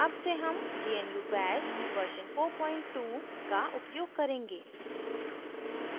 अब से हम gnu bash version 42 का उपयोग करेंगे